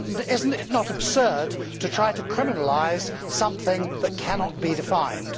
Is it not absurd to try to criminalise something that cannot be defined?